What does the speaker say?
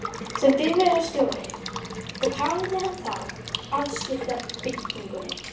sem bifreiðarstjóri, og hafði á þann hátt afskipti af byggingunni.